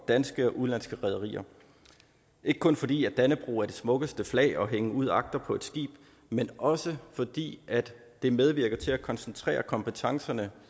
danske og udenlandske rederier ikke kun fordi dannebrog er det smukkeste flag at hænge ud agter på et skib men også fordi det medvirker til at koncentrere kompetencerne